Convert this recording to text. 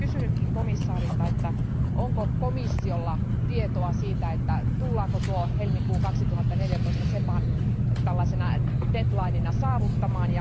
Olisin kysynytkin komission jäseneltä, että onko komissiolla tietoa siitä, että tullaanko tuo helmikuu 2014 SEPAn tällaisena deadlinena saavuttamaan?